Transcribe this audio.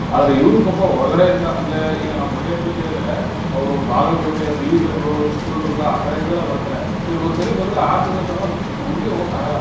ಆದ್ರೆ ಇವ್ರು ಪಾಪ ಹೊರಗಡೆಯಿಂದ ಅಂದ್ರೆ ಈಗ ನಾವ್ ಮಂಡ್ಯಾ ಜಿಲ್ಲೆಲ್ ಇದ್ರೆ, ಅವ್ರು ಬಾಗಲಕೋಟೆ, ಬೀದರು, ಚಿತ್ರದುರ್ಗ, ಆ ಕಡೆಯಿಂದೆಲ್ಲಾ ಬರ್ತಾರೆ. ಇವ್ರ್ ಒಂದ್ ಸರಿ ಬಂದ್ರೆ ಆರ್ ತಿಂಗ್ಲ್ ಕಾಲ ಊರಿಗೆ ಹೋಗಕ್ಕಾಗಲ್ಲ.